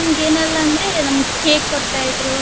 ಏನೆಲ್ಲಾ ಅಂದ್ರೆ ನಮಿಗ್ cake ಕೊಡ್ತಾ ಇದ್ರೂ.